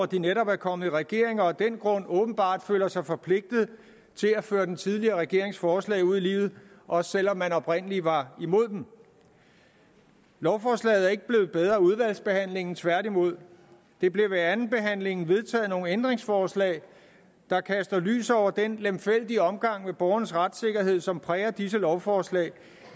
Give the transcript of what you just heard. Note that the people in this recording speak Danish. de netop er kommet i regering og af den grund åbenbart føler sig forpligtet til at føre den tidligere regerings forslag ud i livet også selv om man oprindelig var imod dem lovforslaget er ikke blevet bedre af udvalgsbehandlingen tværtimod der blev ved andenbehandlingen vedtaget nogle ændringsforslag der kaster lys over den lemfældige omgang med borgernes retssikkerhed som præger disse lovforslag